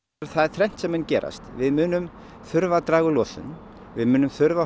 það er þrennt sem mun gerast við munum þurfa að draga úr losun við munum þurfa að